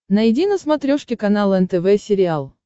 найди на смотрешке канал нтв сериал